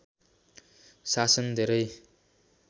शासन धेरै